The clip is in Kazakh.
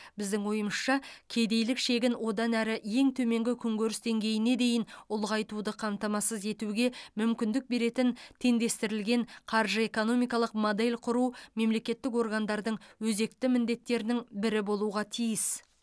біздің ойымызша кедейлік шегін одан әрі ең төменгі күнкөріс деңгейіне дейін ұлғайтуды қамтамасыз етуге мүмкіндік беретін теңдестірілген қаржы экономикалық модель құру мемлекеттік органдардың өзекті міндеттерінің бірі болуға тиіс